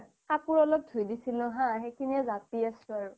কাপোৰ অলপ ধুই দিছিলোঁ হা সেইখিনিয়ে জাপি আছোঁ আৰু